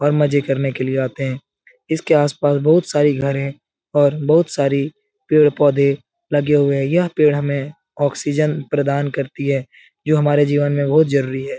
और मजे करने के लिए आते है इसके आस-पास बहुत सारी घर हैं और बहुत सारी पेड़-पौधे लगे हुए हैं यह पेड़ हमें ऑक्सीजन प्रदान करती है जो हमारी जीवन में बहुत जरूरी है ।